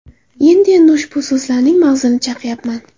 Endi-endi ushbu so‘zlarning mag‘zini chaqyapman.